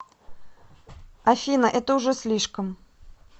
афина это уже слишком